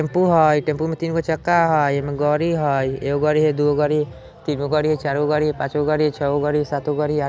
टेंपू हाय टेंपू में तीन गो चक्का हई ऐमे में गाड़ी हई एगो गाड़ी हई दुगो गाड़ी हई तीन गो गाड़ी हई चार गो गाड़ी हई पाँच गो गाड़ी हई छ गो गाड़ी हई सात गो गाड़ी हई आठ गो गाड़ी --